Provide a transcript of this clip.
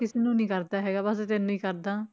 ਕਿਸੇ ਨੂੰ ਨੀ ਕਰਦਾ ਹੈਗਾ ਬਸ ਤੈਨੂੰ ਹੀ ਕਰਦਾਂ।